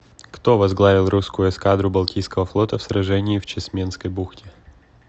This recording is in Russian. кто возглавил русскую эскадру балтийского флота в сражении в чесменской бухте